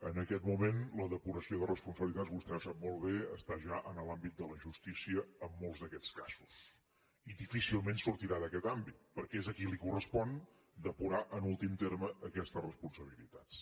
en aquest moment la depuració de responsabilitats vostè ho sap molt bé està ja en l’àmbit de la justícia en molts d’aquests casos i difícilment sortirà d’aquest àmbit perquè és a qui li correspon depurar en últim terme aquestes responsabilitats